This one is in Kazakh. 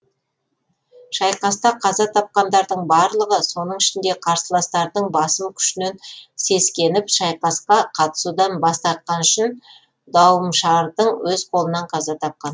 шайқаста қаза тапқандардың барлығы соның ішінде қарсыластарының басым күшінен сескеніп шайқасқа қатысудан бас тартқаны үшін дауымшардың өз қолынан қаза тапқан